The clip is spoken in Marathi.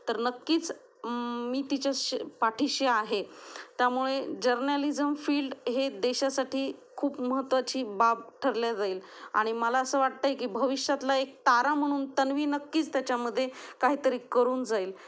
तर नक्कीच मी तिच्या पाठीशी आहे त्यामुळे जर्नलिज्म फील्ड हे देशासाठी खूप महत्त्वाची बाब ठरले जाईल आणि मला असे वाटते की भविष्यातला एक तारा म्हणून तन्वी नक्कीच त्याच्यामध्ये काहीतरी करून जाईल